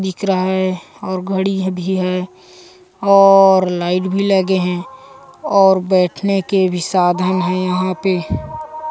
दिख रह हैऔर घड़ी ह भी हैऔर लाइट भी लगे हैऔर बैठने के भी साधन है यहाँ पे।